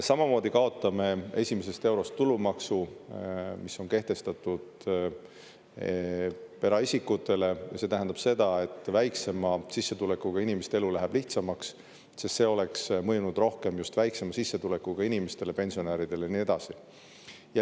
Samamoodi kaotame esimesest eurost tulumaksu, mis on kehtestatud eraisikutele, ja see tähendab seda, et väiksema sissetulekuga inimeste elu läheb lihtsamaks, sest see oleks mõjunud rohkem just väiksema sissetulekuga inimestele, pensionäridele ja nii edasi.